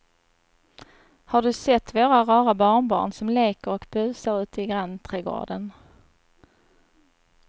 Har du sett våra rara barnbarn som leker och busar ute i grannträdgården!